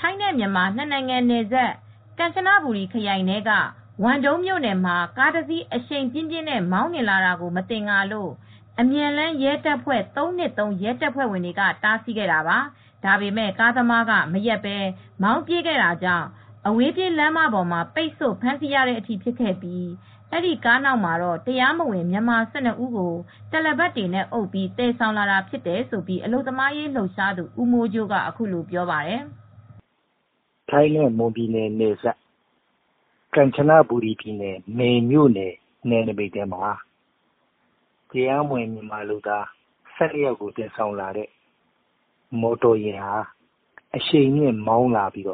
ထိုင်းနဲ့မြန်မာ နှစ်နိုင်ငံနယ်စပ် ကန်ချနဘူရီခရိုင် ဝမ်ဒုံးမြို့နယ်မှာ အရှိန်ပြင်းပြင်းနဲ့ မောင်းလာတဲ့ကားတစီးကို မသင်္ကာလို့ အမြန်လမ်း ရဲတပ်ဖွဲ့ ၃၂၃ ရဲတပ်ဖွဲ့ဝင်တွေက တားဆီးခဲ့တာပါ။ ဒါပေမဲ့ ကားသမားက မရပ်ဘဲ မောင်းပြေးခဲ့တာကြောင့် အဝေးပြေးလမ်းမပေါ်မှာ ပိတ်ဆို့ ဖမ်းဆီးခဲ့ပြီး ကားနောက်ထဲမှာ တလပတ်တွေနဲ့အုပ်ပြီးသယ်လာတဲ့ အထောက်အထားမဲ့ မြန်မာ ၁၂ ဦးကို တွေ့ရှိခဲ့တာဖြစ်ကြောင်း အလုပ်သမားရေး လှုပ်ရှားသူ ဦးမိုးကြိုးက အခုလိုပြောပါတယ်။ "ထိုင်းနဲ့မွန်ပြည်နယ် နယ်စပ်၊ ကန်ချနဘူရီနယ်စပ်၊ ကန်ချနဘူရီထဲက ဝမ်ဒုံးမြို့နယ် နယ်နမိတ်ထဲမှာ မြန်မာလုပ်သား ၁၂ ယောက်ကို တရားမဝင်သယ်ဆောင်လာတဲ့ မော်တော်ယာဉ်က အရှိန်မြင့်မောင်းလာပြီး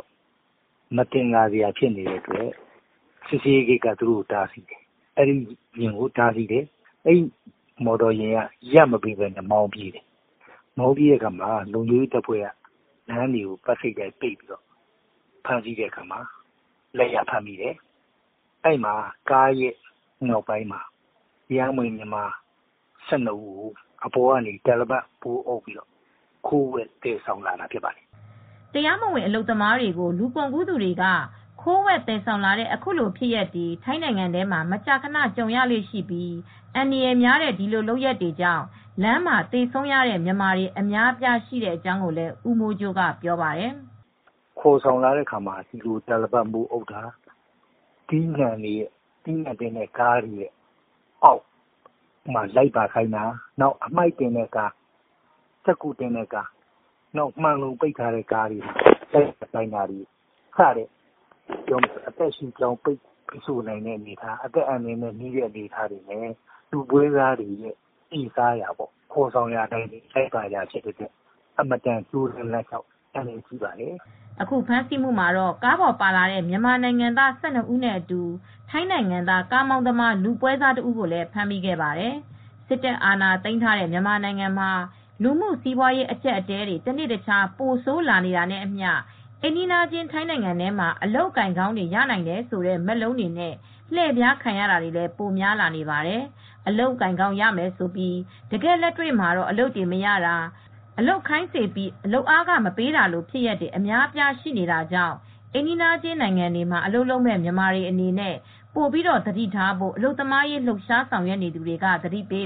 မသင်္ကာစရာဖြစ်လို့ စစ်ဆေးရေးဂိတ်က တားဆီးတယ်။ အဲဒီ မော်တော်ယာဉ်ကရပ်မပေးဘဲ မောင်းပြေးတယ်။ အဲ့ဒီမှာ လုံခြုံရေးတပ်ဖွဲ့တွေက လမ်းတွေကို ပိုက်စိတ်တိုက် ပိတ်ဆို့ပြီး ဖမ်းဆီးတယ်။ ကားရဲ့နောက်ပိုင်းမှာ တရားမဝင် မြန်မာ ၁၂ ဦးကို တာလပတ်နဲ့ အုပ်ပြီး ခိုးဝှက် သယ်ဆောင်လာတာ ဖြစ်ပါတယ်။" တရားမဝင် အလုပ်သမားတွေကို လူကုန်ကူးသူတွေက ခိုးဝှက် သယ်ဆောင်တဲ့ ခုလို ဖြစ်ရပ်တွေ ထိုင်းနိုင်ငံမှာ မကြာခန ကြုံရလေ့ရှိသလို၊ အန္တရာယ်များတဲ့ ဒီလို လုပ်ရပ်တွေကြောင့် လမ်းမှာ သေဆုံးရတဲ့ မြန်မာတွေ အများအပြား ရှိတဲ့အကြောင်းလည်း ဦးမိုးကြိုးက ပြောပါတယ်။ "ခေါ်ဆောင်လာတဲ့အခါမှာ လူတွေကို တာလပတ်မိုး အုပ်ပြီးခေါ်လာတာ၊ အသီးအရွက်သယ်တဲ့ကားတွေမှာ၊ အမှိုက်ကားတွေ၊ စက္ကူတွေတင်တဲ့ကားတွေ၊ အလုံပိတ်ကားတွေ စတဲ့ အန္တရာယ်ရှိပြီး အသက်ရှူကျပ်တဲ့ ကားတွေထဲမှာ လူတွေကို သယ်ဆောင်လာတာတွေ လုပ်လေ့ ရှိပါတယ်။ အင်မတန်ဆိုးပြီး အန္တရာယ်လည်း ကြီးပါတယ်။" အခုဖမ်းဆီးမှုမှာတော့ ကားပေါ်ပါလာတဲ့ မြန်မာနိုင်ငံသား ၁၂ ဦးနဲ့အတူ ထိုင်းနိုင်ငံသား ကားမောင်းသမား လူပွဲစားတဦးကိုလည်း ဖမ်းမိခဲ့ပါတယ်။ စစ်တပ်အာဏာသိမ်းထားတဲ့ မြန်မာနိုင်ငံမှာ လူမှုစီးပွား အကျပ်အတည်းတွေ တနေ့တခြား ပိုဆိုးလာနေတာနဲ့အမျှ အိမ်နီးချင်းထိုင်းနိုင်ငံထဲမှာ အလုပ်အကိုင်ကောင်းတွေ ရနိုင်တယ်ဆိုတဲ့မက်လုံးတွေနဲ့ လှည့်ဖျားခံရတာတွေလည်း ပိုများလာပါတယ်။ အလုပ်အကိုင်ကောင်းရမယ်လို့ဆိုပြီး တကယ့် လက်တွေ့မှာတော့ အလုပ်တွေ မရတာ၊ အလုပ်ခိုင်းစေပြီး လုပ်အားခမပေးတာလို ဖြစ်ရပ်တွေ အများအပြားရှိနေတာကြောင့် အိမ်နီးချင်းနိုင်ငံတွေမှာ အလုပ်လုပ်မယ့် မြန်မာတွေအနေနဲ့ ပိုပြီး သတိထားဖို့ အလုပ်သမားရေး လှုပ်ရှားဆောင်ရွက်သူတွေက သတိပေ